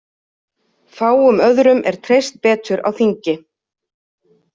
Fáum öðrum er treyst betur á þingi.